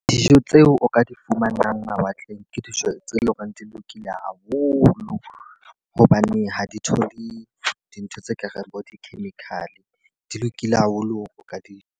Dijo tseo o ka di fumanang mawatleng ke dijo tse leng hore di lokile haholo. Hobane ha di thole dintho tse kareng bo di-chemical, di lokile haholo o ka di ja.